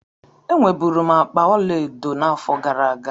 Enwe bụrụ m akpa ọlaedo n'afọ gara aga.